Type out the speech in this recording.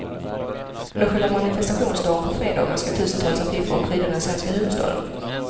Under själva manifestationsdagen på fredagen ska tusentals affischer pryda den svenska huvudstaden.